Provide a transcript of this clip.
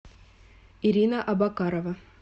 ирина абакарова